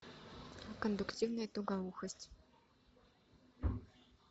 кондуктивная тугоухость